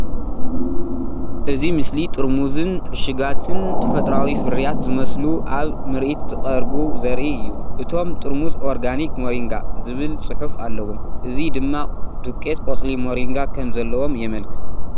እዚ ስእሊ ጥርሙዝን ዕሹጋትን ተፈጥሮኣዊ ፍርያት ዝመስሉ ኣብ ምርኢት ዝቐርቡ ዘርኢ እዩ። እቶም ጥርሙዝ “ኦርጋኒክ ሞሪንጋ” ዝብል ጽሑፍ ኣለዎም። እዚ ድማ ዱቄት ቆጽሊ ሞሪንጋ ከም ዘለዎም የመልክት።